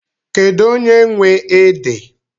Kedụ onye nwe ede?